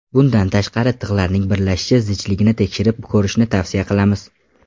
Bundan tashqari, tig‘larning birlashish zichligini tekshirib ko‘rishni tavsiya qilamiz.